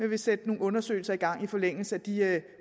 vil sætte nogle undersøgelser i gang i forlængelse af de